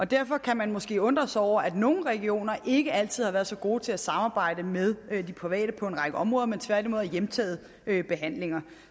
derfor kan man måske undre sig over at nogle regioner ikke altid har været så gode til samarbejde med de private på en række områder men tværtimod har hjemtaget behandlinger